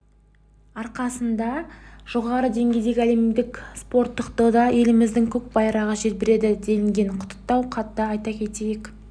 арқасында жоғары деңгейдегі әлемдік спорттық додада еліміздің көк байрағы желбіреді делінген құттықтау хатта айта кетейік